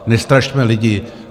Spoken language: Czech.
Nestrašme lidi.